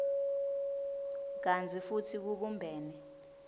kantsi futsi kubumbene